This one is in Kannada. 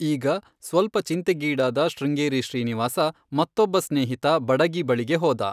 ಈಗ ಸ್ವಲ್ಪ ಚಿಂತೆಗೀಡಾದ ಶೃಂಗೇರಿ ಶ್ರೀನಿವಾಸ ಮತ್ತೊಬ್ಬ ಸ್ನೇಹಿತ, ಬಡಗಿ ಬಳಿಗೆ ಹೋದ.